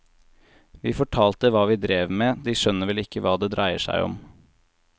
Vi fortalte hva vi drev med, de skjønner vel ikke hva det dreier seg om.